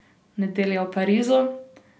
Nedelja v Parizu?